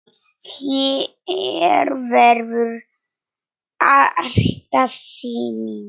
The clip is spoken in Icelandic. Hér verður alltaf sýning.